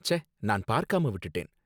ச்சே! நான் பார்க்காம விட்டுட்டேன்